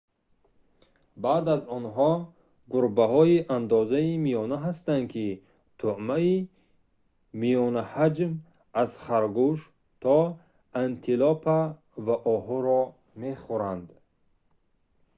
баъд аз онҳо гурбаҳои андозаи миёна ҳастанд ки тӯъмаи миёнаҳаҷм аз харгӯш то антилопа ва оҳуро мехӯранд